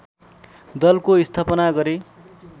दलको स्थापना गरे